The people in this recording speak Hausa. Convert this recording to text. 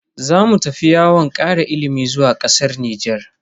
Zamu tafi yawon kara ilimi zuwa kasar Nijar.